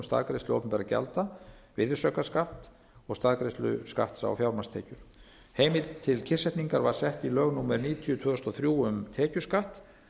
staðgreiðslu opinberra gjalda virðisaukaskatt og staðgreiðslu skatts á fjármagnstekjur heimild til kyrrsetningar var sett í lög númer níutíu tvö þúsund og þrjú um tekjuskatt